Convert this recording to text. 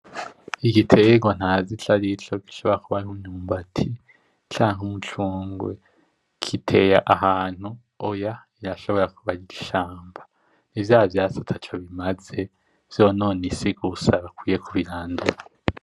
Igiterwa ntazi ico arico gishobora kuba ari umwumbati canke umucungwe. Giteye ahantu, oya irashobora kuba ari ishamba. Ni vyavyatsi ataco bimaze vyonona isi gusa, bakwiye kubirandura.